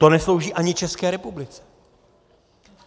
To neslouží ani České republice.